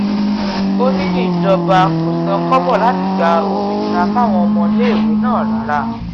ó ní ìjọba kò san kọ́bọ̀ láti gba òmìnira fáwọn ọmọléèwé náà rárá